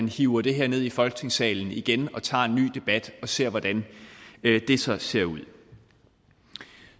hive det her ned i folketingssalen igen og tage en ny debat og ser hvordan det så ser ud